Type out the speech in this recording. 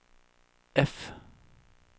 F